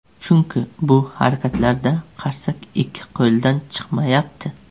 Chunki bu harakatlarda qarsak ikki qo‘ldan chiqmayapti.